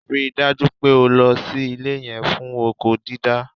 Rí i dájú pé o lo ilẹ̀ yẹn fún oko dídá!